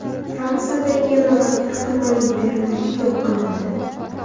Fransiyada yana bir ehtimoliy terrorchi yo‘q qilindi.